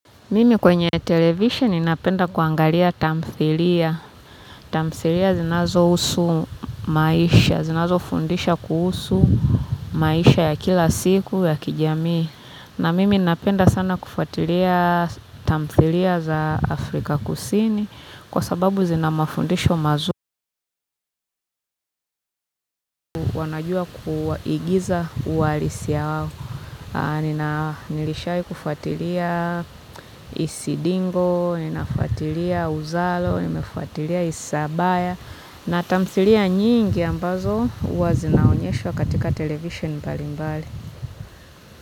Mimi kwenye television ninapenda kuangalia tamthilia. Tamthilia zinazo husu maisha, zinazo fundisha kuhusu maisha ya kila siku ya kijamii. Na mimi ninapenda sana kufuatilia tamthilia za Afrika kusini kwa sababu zinamafundisho mazuri. Wanajua kuwaagiza uwalisi yao nishai kufuatilia isindigo ninafuatilia uzalo nafuatilia isabaya na tamthalia nyingi ambazo huwa zinaonyeshwa katika television mbalimbali.